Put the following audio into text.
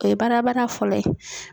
O ye badabada fɔlɔ ye.